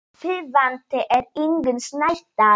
Þýðandi er Ingunn Snædal.